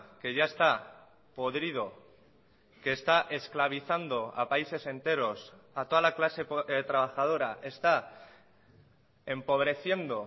que ya está podrido que está esclavizando a países enteros a toda la clase trabajadora está empobreciendo